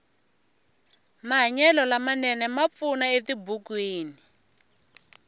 mahanyelo lama nene ma pfuna etibukwini